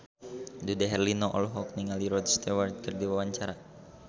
Dude Herlino olohok ningali Rod Stewart keur diwawancara